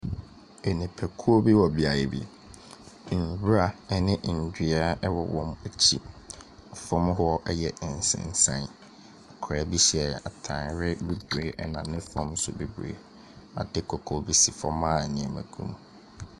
Nnipakuo bi wɔ beaeɛ bi. Nwura ne nnua wɔ wɔn akyi. Fam hɔ yɛ nsensan. Akwadaa bi hyɛ atade bibire na ne fam nso bibire. Ade kɔkɔɔ bi si fam a nneɛma gum.